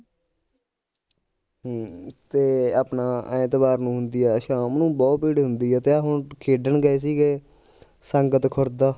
ਹਮ ਤੇ ਆਪਣਾ ਐਤਵਾਰ ਨੂੰ ਹੁੰਦੀ ਆ ਸ਼ਾਮ ਨੂੰ ਬਹੁਤ ਭੀੜ ਹੁੰਦੀ ਆ ਤੇ ਆ ਹੁਣ ਖੇਡਣ ਗਏ ਸੀਗੇ ਸੰਗਤ ਖੁਰਦਾ